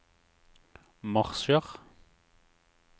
marsjer